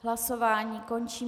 Hlasování končím.